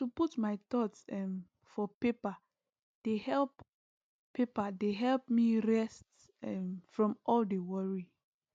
to put my thoughts um for paper dey help paper dey help me rest um from all the worry